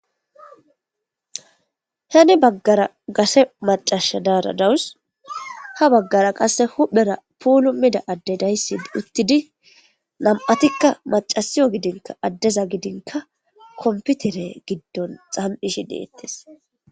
Heni bagara gashshe macasi dawus. Ha bagara qase pulumida adde dayssi utidi nam''atika maccasiyo gidinkka kompitere giddon zami'ishshe dettes.